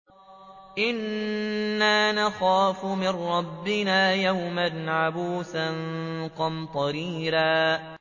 إِنَّا نَخَافُ مِن رَّبِّنَا يَوْمًا عَبُوسًا قَمْطَرِيرًا